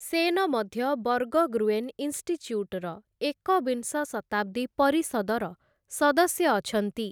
ସେନ ମଧ୍ୟ ବର୍ଗଗ୍ରୁଏନ ଇନଷ୍ଟିଚ୍ୟୁଟର ଏକବିଂଶ ଶତାବ୍ଦୀ ପରିଷଦର ସଦସ୍ୟ ଅଛନ୍ତି ।